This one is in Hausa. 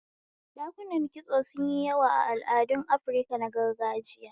Dakunan kitso sun yi yawa a al'adun Afirka na gargajiya.